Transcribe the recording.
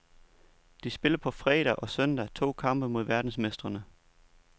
De spiller på fredag og søndag to kampe mod verdensmestrene.